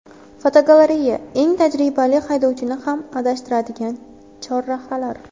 Fotogalereya: Eng tajribali haydovchini ham adashtiradigan chorrahalar.